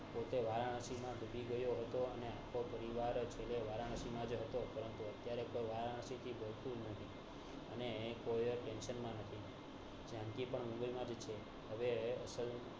પોતે વારાણસી માં ડૂબી ગયો હતો અને આખો પરિવાર છેલ્લે વારાણસી માં જ હતો ત્યારે કોઈ વારાણસી માં જાનકી પણ મુંબઈ માજ છે હવે અસલ